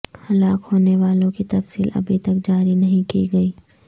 ہلاک ہونے والوں کی تفصیل ابھی تک جاری نہیں کی گئی